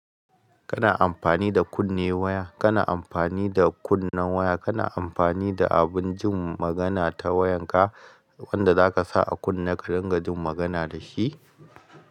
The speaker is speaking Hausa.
Kana amfani da kunne waya, kana amfani da kunnen waya, kana amfani da abun jin magana ta wayan ka wanda zaka sa a kunne ka don ka jin magana dashi.